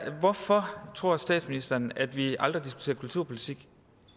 hvorfor tror statsministeren at vi aldrig diskuterer kulturpolitik